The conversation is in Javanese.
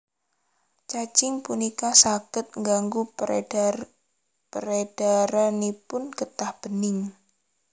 Cacing punika saged ngganggu peredaranipun getah bening